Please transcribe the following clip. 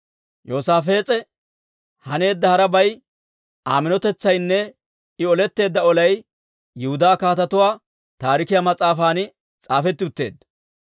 Yoosaafees'e haneedda harabay, Aa minotetsaynne I oletteedda olay Yihudaa Kaatetuu Taarikiyaa mas'aafan s'aafetti utteedda.